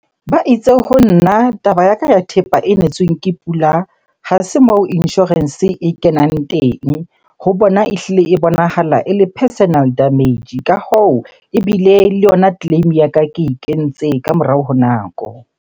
Ba itse ho nna taba ya ka ya thepa e netsweng ke pula, ha se moo insurance e kenang teng. Ho bona ehlile e bonahala ele personal damage. Ka hoo, ebile le yona claim-e ya ka ke e kentse ka morao ho nako.